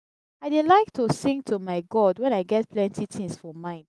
i dey like to sing to my god wen i get plenty tins for mind.